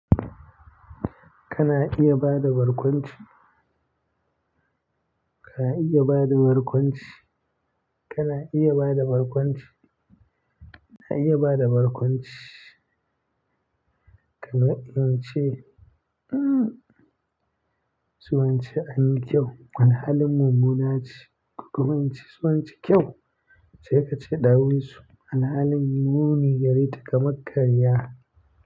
Kana iya bada barkwanci? Ka iya bada barkwanci? Kana iya bada barkwanci? Na iya bada barkwanci kamar ince, hmm, su wance anyi kyau. Alhalin mummuna ce, ko kuma ince su wance kyau sai ka ce ɗawisu, "alhalin muni gare ta kaman karya."